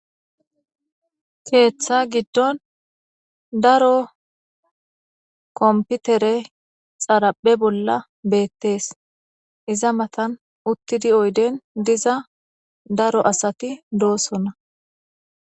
keeththa giddon daro komputere xaraphe bolla beettees iza matan uttidi oyden diza daro asati doosonna